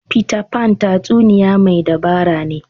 Peter Pan tatsuniya mai dabara ne.